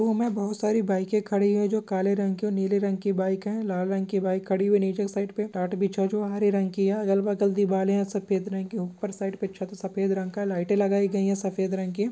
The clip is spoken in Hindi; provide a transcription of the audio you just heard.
रूम मे बहुत सारे बाइके खड़ी हुई है। जो काले रंग की और नीले रंग की बाइक है। लाल रंग की बाइक खड़ी हुई नीचे की साइड पे टाट बिछा हुआ जो हरे रंग की है। यह अगल बगल दिवारे है। सफ़ेद रंग के ऊपर साइड पे छत सफ़ेद रंग का है। लाइट लगाए गई है सफ़ेद रंग की।